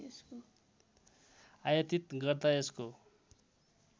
आयातीत गर्दा यसको